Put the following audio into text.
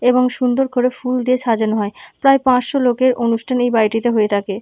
এবং সুন্দর করে ফুল দিয়ে সাজানো হয় প্রায় পাঁচশো লোকের অনুষ্ঠান এই বাড়িটিতে হয়ে থাকে।